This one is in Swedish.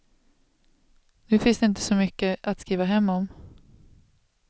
Nu finns det inte så mycket att skriva hem om.